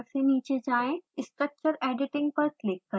structure editing पर click करें